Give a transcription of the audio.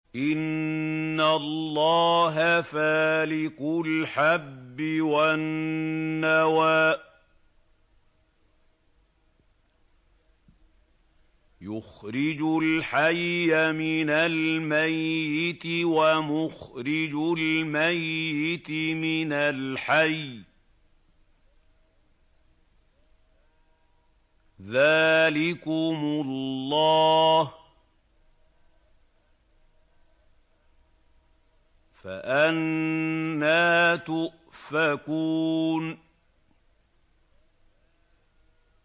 ۞ إِنَّ اللَّهَ فَالِقُ الْحَبِّ وَالنَّوَىٰ ۖ يُخْرِجُ الْحَيَّ مِنَ الْمَيِّتِ وَمُخْرِجُ الْمَيِّتِ مِنَ الْحَيِّ ۚ ذَٰلِكُمُ اللَّهُ ۖ فَأَنَّىٰ تُؤْفَكُونَ